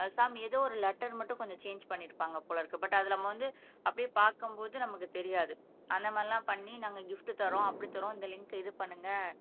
அஹ் some ஏதோ ஒரு letter மட்டும் கொஞ்சம் சேன்ஜ் பண்ணியிருப்பாங்க போல இருக்கு பட் அதுல நம்ம வந்து அப்படியே பாக்கும்போது நமக்கு தெரியாது அந்த மாரியெல்லாம் பண்ணி நாங்க கிப்ட் தர்றோம் அப்படி தர்றோம் இந்த லிங்க்க இது பண்ணுங்க